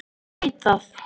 Ég veit það.